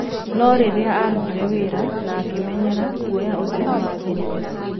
No rĩrĩa aarutire wĩra na akĩmenyera, guoya ũcio nĩ wathirire.